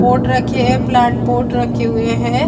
Pot रखे है plant pot रखे हुए है।